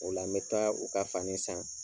O la n mɛ taa u ka fani san.